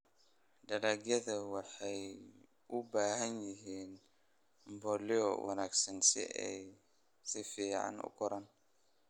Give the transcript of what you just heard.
Dalagyadu waxay u baahan yihiin mbolea wanaagsan si ay si fiican u koraan.